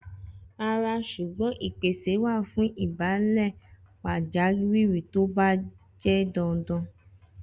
Rara ṣugbọn ipese wa fun ibalẹ pajawiri ti o ba jẹ dandan.